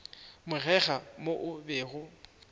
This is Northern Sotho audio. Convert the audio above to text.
bogega mo o bego o